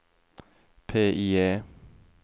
PIE